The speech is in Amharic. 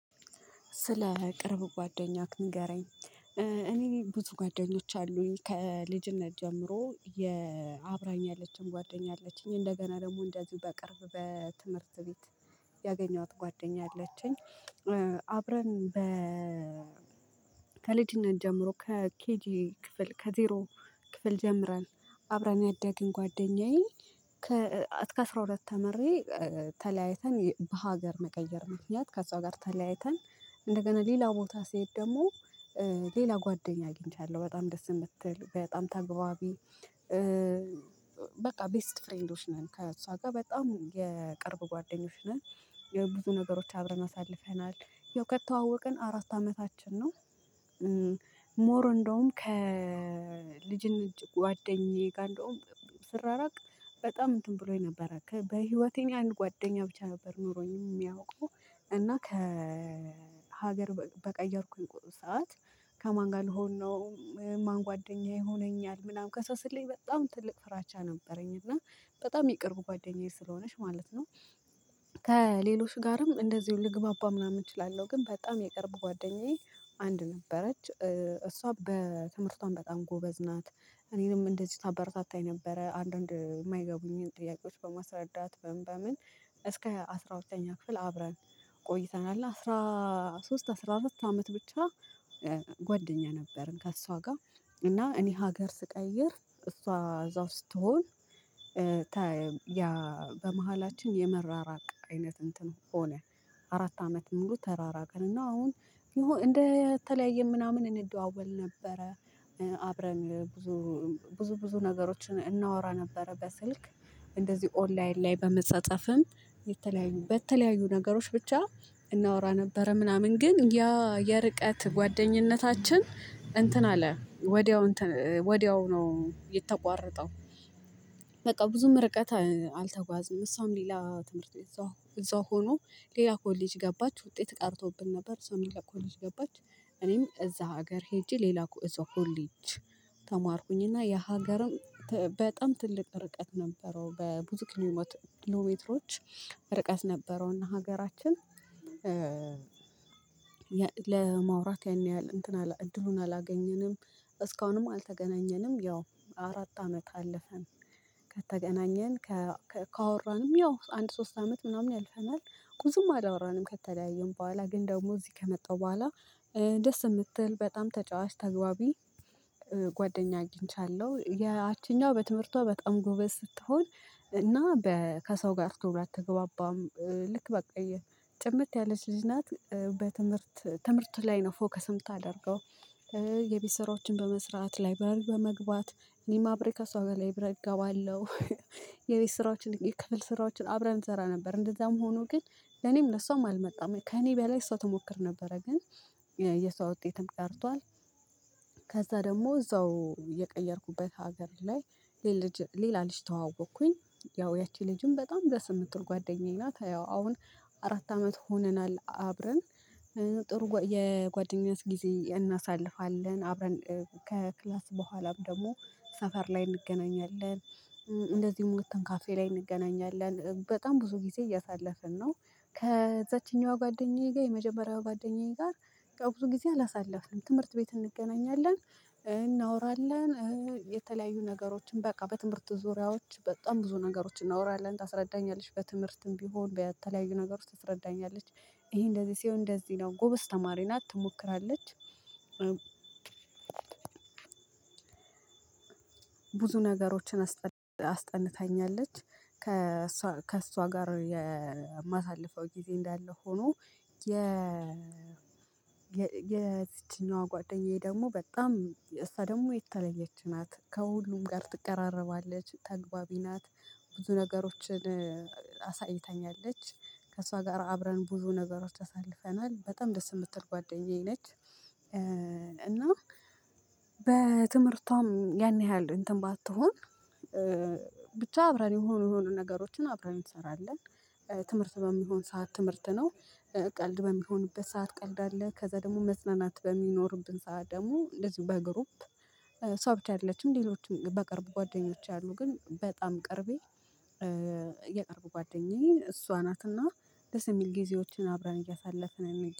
ስለ ቅርብ ጓደኛህ ንገረኝ እኔ ብዙ ጓደኞች አሉኝ ከልጅነት ጀምሮ አብራኝ ያለችኝም ጓደኛ አለችኝ እንደገና ደግሞ እንደዚሁ በቅርብ በትምህርት ቤት ያገኘኋት ጓደኛ አለችኝ። አብረን በ ከልጅነት ጀምሮ ከኬጂ ክፍል ከዜሮ ክፍል ጀምረን አብረን ያደግን ጓደኛዬ ከእስከ አስራ ሁለት ተምሬ ተለያይተን በሀገር መቀየር ምክንያት ከእሷ ጋር ተለያይተን እንደገና ሌላ ቦታ ስሄድ ደግሞ ሌላ ጓደኛ አግኝቻለሁ በጣም ደስ የምትል በጣም ተግባባቢ በቃ ቤስት ፍሬንዶች ነን ከእሷ ጋር በጣም የቅርብ ጓደኞች ነን። ያው ብዙ ነገሮች አብረን አሳልፈናል ያው ከተዋወቅን አራት አመታችን ነው። ሞር እንደውም ከልጅነት እጅግ ጉዋደኛዬ ጋር እንደውም ስራራቅ በጣም እንትን ብሎኝ ነበረ በህይወቴ አንድ ጓዋደኛ ነበር ኖሮኝ የሚያውቀው እና ከሀገር በቀየርኩኝ ቁጥር ሰዓት ከማን ጋር ልሆን ነው ማን ጉዋደኛ ይሆነኛል ምናምን ከሷ ስለይ በጣም ትልቅ ፍራቻ ነበረኝ እና በጣም የቅርብ ጓደኛዬ ስለሆነች ማለት ነው። ከሌሎች ጋርም እንደዚሁ ልግባባ ምናምን እችላለሁ ግን በጣም የቅርብ ጓደኛዬ አንድ ነበረች እሷ በትምህርቷም በጣም ጎበዝ ናት እኔንም እንደዚህ ታበረታታኝ ነበረ አንዳንድ የማይገቡኝን ጥያቄዎች በማስረዳት በምን በምን እስከ አስራ ሁለተኛ ክፍል አብረን ቆይተናል አስራ ሶስት አስራ አራት አመት ብቻ ጓደኛ ነበርን። ከእሷ ጋር እና እኔ ሀገር ስቀይር እሷ እዛው ስትሆን በመሃላችን የመራራቅ አይነት እንትን ሆነ አራት አመት ሙሉ ተራራቅን እና አሁን እንደተለያየን ምናምን እንደዋወል ነበረ አብረን ብዙ ብዙ ብዙ ነገሮችን እናወራ ነበር በስልክ እንደዚህ ኦንላይን ላይ በመጻጻፍም የተለያዩ በተለያዩ ነገሮች ብቻ እናወራ ነበረ ምናምን ግን ያ የርቀት ጓደኝነታችን እንትን አለ ወዲያው ነው የተቋረጠው። በቃ ብዙም ርቀት አልተጓዝም እሷም ሌላ ትምህርት ቤት እዛው እዛው ሆኖ ሌላ ኮሌጅ ገባች ውጤት ቀርቶብን ነበር ሰው ሌላ ኮሌጅ ገባች እዛ ሀገር ሄጄ ሌላ ኮ እዛው ኮሌጅ ተማርኩኝና የሀገርም በጣም ትልቅ ርቀት ነበረው በ ብዙ ኪሎሜትሮች ርቀት ነበረውና ሀገራችን ለማውራት ያን ያህል እንትን እድሉን አላገኘንም እስካሁንም አልተገናኘንም ያው አራት አመት አለፈን። ከተገናኘን ካወራንም ያው አንድ ሶስት አመት ምናምን ያልፈናል ብዙም አላወራንም ከተለያዩን በኋላ ግን ደግሞ እዚህ ከመጣው በኋላ ደስ የምትል በጣም ተጫዋች ተግባቢ ጓደኛ አግኝቻለሁ ያቺኛዋ በትምህርቷ በጣም ጎበዝ ስትሆን እና ከሰው ጋር ቶሎ አትግባባም ልክ በቃ ጭምት ያለች ልጅ ናት በትምህርት ትምህርት ላይ ነው ፎከስ የምታደርገው የቤት ስራወችን በመስራት ላይ ላይብረሪ በመግባት እኔም አብሬ ከሷ ጋር ላይብረሪ እገባለሁ። ስራዎችን የክፍል ስራዎችን አብረን እንሰራ ነበር እንደዛም ሆኖ ግን ለኔም ለሷም አልመጣም ከኔ በላይ እሷ ትሞክር ነበረ ግን የሰው ውጤትም ቀርቷል። ከዛ ደግሞ እዛው የቀየርኩበት ሀገር ላይ ሌላ ልጅ ተዋወቅኩኝ ያው ያቺ ልጅም በጣም በስምንት ወር ጓደኛዬ ናት ያው አሁን አራት አመት ሆነናል አብረን ጥሩ የጓደኛስ ጊዜ እናሳልፋለን አብረን ከክላስ በኋላም ደግሞ ሰፈር ላይ እንገናኛለን። እንደዚህ ወተን ካፌ ላይ እንገናኛለን በጣም ብዙ ጊዜ እያሳለፍን ነው ከዛችኛዋ ጓደኛዬ ጋር የመጀመሪያው ጓደኛዬ ጋር ብዙ ጊዜ አላሳለፍንም ትምህርት ቤት እንገናኛለን እናወራለን የተለያዩ ነገሮችን በቃ በትምህርት ዙሪያዎች በጣም ብዙ ነገሮችን እናወራለን ታስረዳኛለች በትምህርትም ቢሆን በተለያዩ ነገር ውስጥ ትረዳኛለች። ይሄ እንደዚህ ሲሆን እንደዚህ ነው ጎበዝ ተማሪ ትሞክራለች። ብዙ ነገሮችን አስጠንታኛለች ከእሷ ከእሷ ጋር የማሳልፈው ጊዜ እንዳለ ሆኖ የ የዝችኛዋ ጓደኛዬ ደግሞ በጣም እሳ ደግሞ የተለየች ናት ከሁሉም ጋር ትቀራረባለች ተግባቢ ናት። ብዙ ነገሮችን አሳይታኛለች ከእሷ ጋር አብረን ብዙ ነገሮች አሳልፈናል በጣም ደስ የምትል ጓደኛዬ ነች። እና በትምህርቷም ያን ያህል እንትን ባትሆን ብቻ አብረን የሆኑ የሆኑ ነገሮችን አብረን ትሰራለን። ትምህርት በሚሆን ሰዓት ትምህርት ነው ቀልድ በሚሆንበት ሰዓት ቀልድ አለ ከዛ ደግሞ መዝናናት በሚኖርብን ሰዓት ደግሞ እንደዚሁ በግሩፕ እሷ ብቻ አይደለችም ሌሎችም በቅርብ ጓደኞች አሉ። ግን በጣም ቅርቤ የቀረቡ ጓደኛዬ እሷ ደስ የሚል ጊዜዎችን አብረን እያሳለፍን የሚል